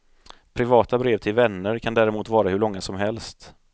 Privata brev till vänner kan däremot vara hur långa som helst.